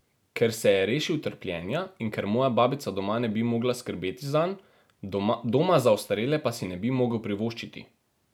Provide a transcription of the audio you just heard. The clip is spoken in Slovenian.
Ker se je rešil trpljenja in ker moja babica doma ne bi mogla skrbeti zanj, doma za ostarele pa si ne bi mogel privoščiti.